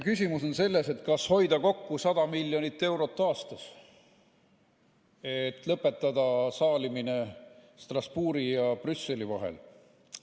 Küsimus on selles, kas hoida kokku 100 miljonit eurot aastas ja lõpetada saalimine Strasbourgi ja Brüsseli vahel.